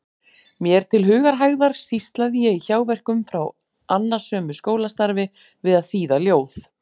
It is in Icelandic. Mér til hugarhægðar sýslaði ég í hjáverkum frá annasömu skólastarfi við að þýða ljóð.